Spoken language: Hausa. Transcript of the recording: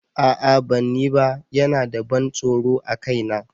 A'a ban yi ba, yana da ban tsoro a kaina.